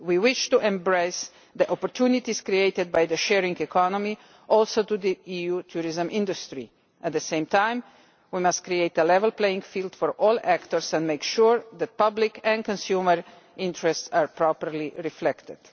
We wish to embrace the opportunities created by the sharing economy, including for the EU tourism industry. At the same time, we must create a level playing field for all actors and make sure that public and consumer interests are properly reflected.